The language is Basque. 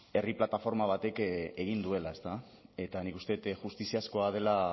herri plataforma batek egin duela ezta eta nik uste dut justiziakoa dela